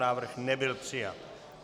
Návrh nebyl přijat.